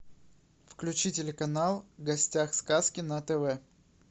включи телеканал в гостях сказки на тв